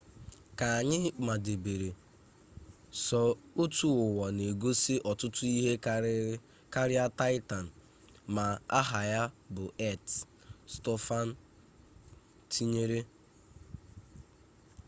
ka anyị madebere sọ otu ụwa na-egosi ọtụtụ ike karịa taịtan ma aha ya bụ earth stofan tinyere